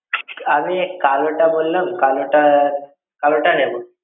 আমি কালোটা বললাম, কালোটা কালোটাই নেবো।